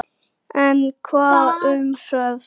En hvað um svefn?